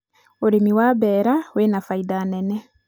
ũrĩmi wa mbeera wĩ na baida nene